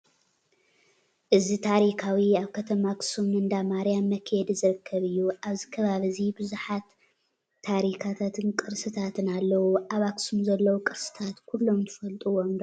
እዚ ታሪካዊን ኣብ ከተማ ኣክሱም ንእንዳማርያም መክየዲ ዝርከብ እዩ። ኣብዚ ከባቢ እዚ ብዙሓት ታሪቃትን ቅርስታት ኣለው። ኣብ ኣክሱም ዘለው ቅርስታት ኩሎም ትፈጥዎም ዶ ?